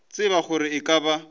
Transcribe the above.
tsebe gore e ka ba